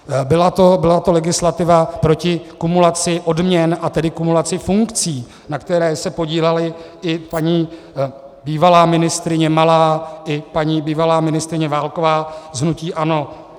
Byla to legislativa proti kumulaci odměn, a tedy kumulaci funkcí, na které se podílely i paní bývalá ministryně Malá i paní bývalá ministryně Válková z hnutí ANO.